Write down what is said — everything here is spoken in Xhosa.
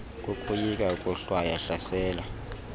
kokoyika ukohlwaywa hlaselwa